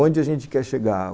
Onde a gente quer chegar?